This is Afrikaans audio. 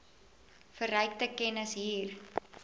verrykte kennis hier